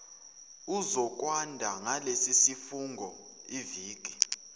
uzokwanda ngalesisifungo iviki